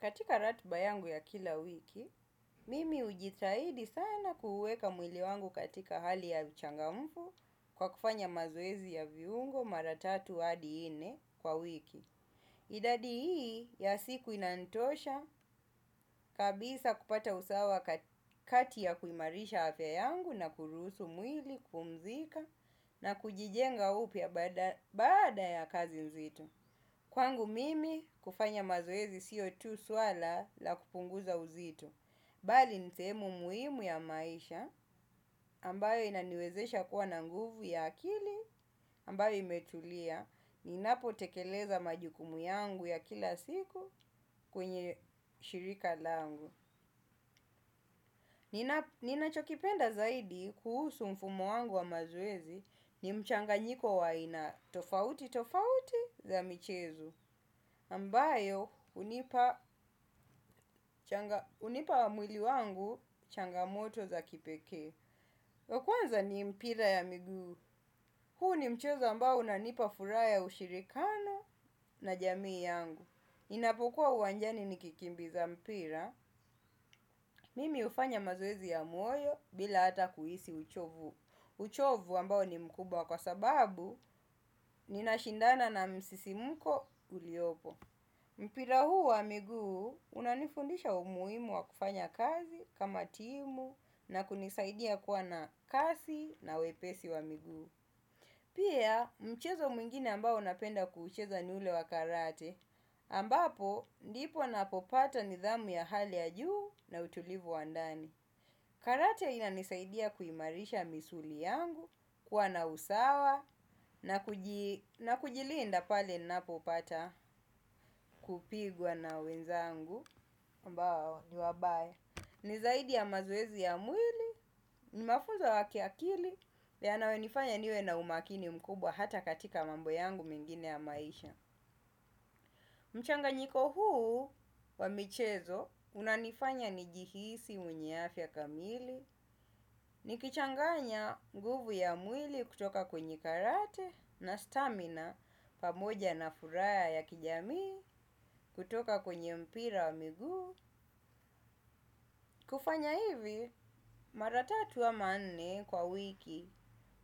Katika ratiba yangu ya kila wiki, mimi hujitahidi sana kuuweka mwili wangu katika hali ya uchangamfu kwa kufanya mazoezi ya viungo mara tatu hadi nne kwa wiki. Idadi hii ya siku inanitosha kabisa kupata usawa kati ya kuimarisha afya yangu na kuruhusu mwili, kupumzika na kujijenga upya baada ya kazi nzito. Kwangu mimi kufanya mazoezi sio tu swala la kupunguza uzito. Bali ni sehemu muhimu ya maisha. Ambayo inaniwezesha kuwa na nguvu ya akili ambayo imetulia. Ninapotekeleza majukumu yangu ya kila siku kwenye shirika langu. Ninachokipenda zaidi kuhusu mfumo wangu wa mazoezi ni mchanganyiko wa aina tofauti tofauti za michezo. Ambayo hunipa mwili wangu changamoto za kipekee. Wa kwanza ni mpira ya miguu. Huu ni mchezo ambao unanipa furaha ya ushirikano na jamii yangu. Inapokuwa uwanjani nikikimbiza mpira, mimi hufanya mazoezi ya moyo bila hata kuhisi uchovu. Uchovu ambao ni mkubwa kwa sababu ninashindana na msisimko uliopo. Mpira huu wa miguu unanifundisha umuhimu wa kufanya kazi kama timu na kunisaidia kuwa na kasi na wepesi wa miguu. Pia mchezo mwingine ambao napenda kuucheza ni ule wa karate ambapo ndipo napopata nidhamu ya hali ya juu na utulivu wa ndani. Karate inanisaidia kuimarisha misuli yangu, kuwa na usawa, na kujilinda pale ninapopata kupigwa na wenzangu, ambao ni wabaya. Ni zaidi ya mazoezi ya mwili, ni mafunzo ya kiakili, yanayonifanya niwe na umakini mkubwa hata katika mambo yangu mengine ya maisha. Mchanganyiko huu wa michezo unanifanya nijihisi mwenye afya kamili, nikichanganya nguvu ya mwili kutoka kwenye karate na stamina pamoja na furaha ya kijamii. Kutoka kwenye mpira wa miguu. Kufanya hivi mara tatu ama nne kwa wiki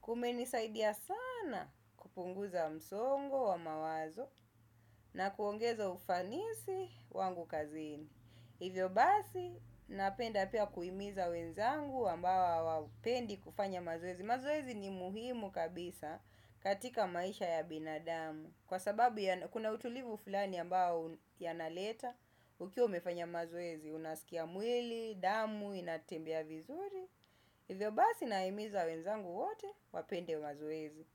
kumenisaidia sana kupunguza msongo wa mawazo na kuongeza ufanisi wangu kazini. Hivyo basi, napenda pia kuhimiza wenzangu ambao hawapendi kufanya mazoezi. Mazoezi ni muhimu kabisa katika maisha ya binadamu. Kwa sababu kuna utulivu fulani ambao yanaleta, ukiwa umefanya mazoezi, unasikia mwili, damu, inatembea vizuri. Hivyo basi, nahimiza wenzangu wote wapende mazoezi.